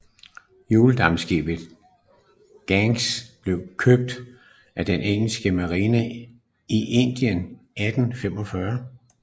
Hjuldampskibet Ganges blev købt af den engelske marine i Indien i 1845